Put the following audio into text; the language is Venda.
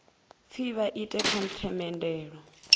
pfi vha ite kha themendelo